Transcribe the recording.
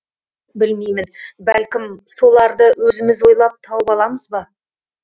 білмеймін бәлкім соларды өзіміз ойлап тауып аламыз ба